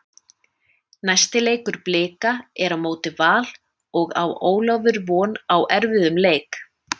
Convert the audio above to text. Næsti leikur Blika er á móti Val og á Ólafur von á erfiðum leik.